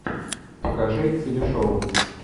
покажи телешоу